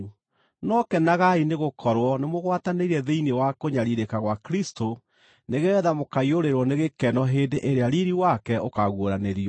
No kenagai nĩgũkorwo nĩ mũgwatanĩire thĩinĩ wa kũnyariirĩka gwa Kristũ, nĩgeetha mũkaiyũrĩrĩrwo nĩ gĩkeno hĩndĩ ĩrĩa riiri wake ũkaaguũranĩrio.